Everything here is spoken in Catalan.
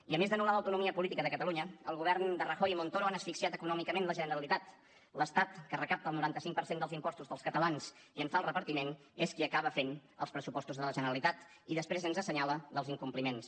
i a més d’anul·lar l’autonomia política de catalunya el govern de rajoy i montoro han asfixiat econòmicament la generalitat l’estat que recapta el noranta cinc per cent dels impostos dels catalans i en fa el repartiment és qui acaba fent els pressupostos de la generalitat i després ens assenyala els incompliments